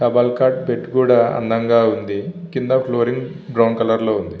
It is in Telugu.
డబల్ కాట్ బెడ్ కూడా అందంగా ఉంది కింద ఫ్లోరింగ్ బ్రౌన్ కలర్ లో ఉంది.